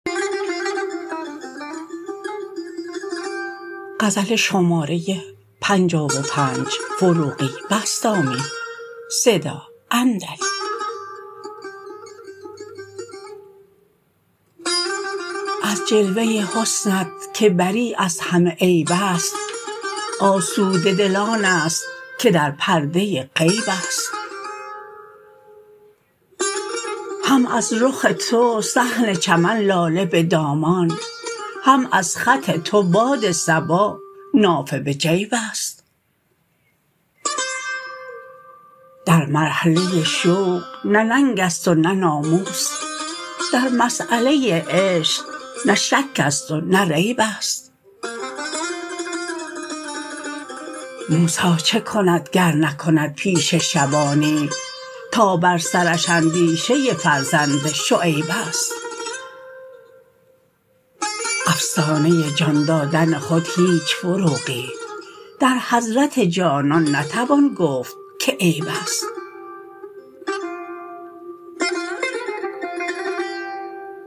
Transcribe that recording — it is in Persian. از جلوه حسنت که بری از همه عیب است آسوده دل آن است که در پرده غیب است هم از رخ تو صحن چمن لاله به دامان هم از خط تو باد صبا نافه به جیب است در مرحله شوق نه ننگ است و نه ناموس در مسیله عشق نه شک است و نه ریب است موسی چه کند گر نکند پیشه شبانی تا بر سرش اندیشه فرزند شعیب است افسانه جان دادن خود هیچ فروغی در حضرت جانان نتوان گفت که عیب است